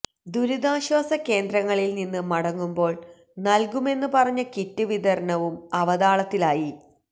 ദുരിതാശ്വസ കേന്ദ്രങ്ങളില് നിന്ന് മടങ്ങുമ്പോള് നല്കുമെന്ന് പറഞ്ഞ കിറ്റ് വിതരണവും അവതാളത്തിലായി